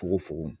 Fogo fogo